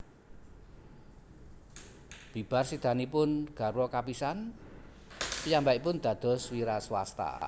Bibar sédanipun garwa kapisan piyambakipun dados wiraswasta